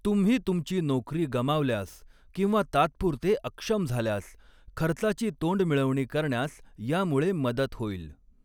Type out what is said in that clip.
तुम्ही तुमची नोकरी गमावल्यास किंवा तात्पुरते अक्षम झाल्यास खर्चाची तोंडमिळवणी करण्यास यामुळे मदत होईल.